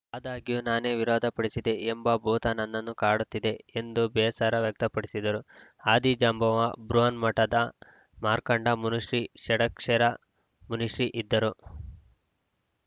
ಆದಾಗ್ಯೂ ನಾನೇ ವಿರೋಧ ಪಡಿಸಿದೆ ಎಂಬ ಭೂತ ನನ್ನನ್ನು ಕಾಡುತ್ತಿದೆ ಎಂದು ಬೇಸರ ವ್ಯಕ್ತಪಡಿಸಿದರು ಆದಿಜಾಂಬವ ಬೃಹನ್ಮಠದ ಮಾರ್ಕಂಡ ಮುನಿಶ್ರೀ ಷಡಕ್ಷರ ಮುನಿಶ್ರೀ ಇದ್ದರು